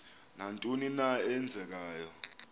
nantoni na eenzekayo